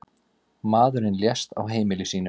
Maðurinn lést á heimili sínu.